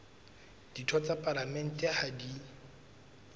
ditho tsa palamente ha di